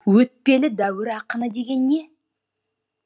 өтпелі дәуір ақыны деген не